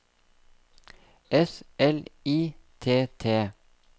S L I T T